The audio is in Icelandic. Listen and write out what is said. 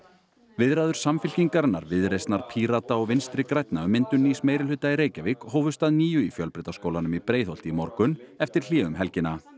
viðræður Samfylkingarinnar Viðreisnar Pírata og Vinstri grænna um myndun nýs meirihluta í Reykjavík hófust að nýju í Fjölbrautaskólanum í Breiðholti í morgun eftir hlé um helgina